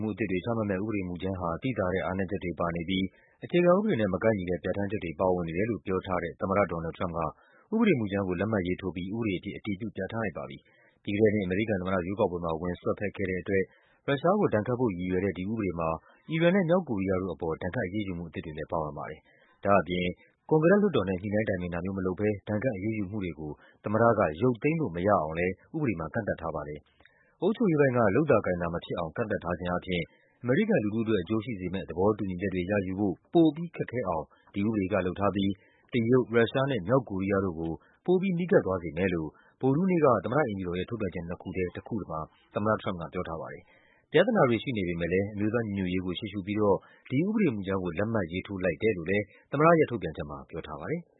မှု အသစ်တွေ ချမှတ်မယ့် ဥပဒေမူကြမ်းဟာ သိသာတဲ့ အားနည်းချက်တွေ ပါနေပြီး အခြေခံဥပဒေနဲ့ မကိုက်ညီတဲ့ ပြဌာန်းချက်တွေ ပါဝင်နေတယ်လို့ ပြောထားတဲ့ သမ္မတ ဒေါ်နယ်လ်ဒ် ထရမ့်ပ်က ဥပဒေမူကြမ်းကို လက်မှတ်ရေးထိုးပြီး ဥပဒေအဖြစ် အတည်ပြု ပြဌာန်းလိုက်ပါပြီ။ ပြီးခဲ့တဲ့နှစ် အမေရိကန် သမ္မတ ရွေးကောက်ပွဲမှာ ဝင်စွက်ဖက်ခဲ့တဲ့ အတွက် ရုရှားကို ဒဏ်ခတ်ဖို့ ရည်ရွယ်တဲ့ ဒီဥပဒေမှာ အီရန်နဲ့ မြောက်ကိုရီးယားတို့ အပေါ် ဒဏ်ခတ်အရေးယူမှု အသစ်တွေလည်း ပါဝင်ပါတယ်။ ဒါ့အပြင် ကွန်ဂရက် လွှတ်တော်နဲ့ ညှိနှိုင်းတိုင်ပင် တာမျိုးမလုပ်ဘဲ ဒဏ်ခတ်အရေးယူမှုတွေကို သမ္မတက ရုပ်သိမ်းလို့ မရအောင်လည်း ဥပဒေမှာ ကန့်သတ်ထားပါတယ်။ အုပ်ချုပ်ရေးပိုင်းက လုပ်သာကိုင်သာ မဖြစ်အောင် ကန့်သတ်ထားခြင်း အားဖြင့် အမေရိကန် လူထုအတွက် အကျိုးရှိစေမယ့် သဘောတူညီချက်တွေ ရယူဖို့ ပိုပြီး ခက်ခဲအောင် ဒီဥပဒေက လုပ်ထားပြီး တရုတ်၊ ရုရှားနဲ့ မြောက်ကိုရီးယားတို့ကို ပိုပြီး နီးကပ် သွားစေမယ်လို့ ဗုဒ္ဓဟူးနေ့မှာ သမ္မတ အိမ်ဖြူတော်ရဲ့ ထုတ်ပြန်ချက် နှစ်ခုထဲက တခုမှာ သမ္မတထရမ့်ပ်က ပြောထားပါတယ်။ ပြဿနာတွေ ရှိစေပေမယ့်လည်း အမျိုးသား ညီညွတ်ရေးကို ရှေ့ရှုပြီးတော့ ဒီဥပဒေမူကြမ်းကို လက်မှတ်ရေးထိုး လိုက်တယ်လို့လည်း သမ္မတရဲ့ထုတ်ပြန်ချက်မှာ ပြောထားပါတယ်။